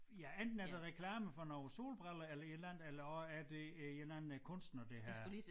Ja enten er det reklame for noget solbriller eller et eller andet eller også er det øh en eller anden kunstner der har